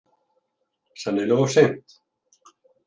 Sennilega of seint.